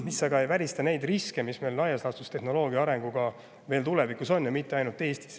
See aga ei välista neid riske, mis meil tehnoloogia arenguga veel tulevikus, ja mitte ainult Eestis.